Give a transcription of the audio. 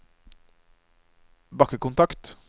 bakkekontakt